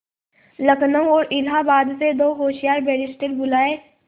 लखनऊ और इलाहाबाद से दो होशियार बैरिस्टिर बुलाये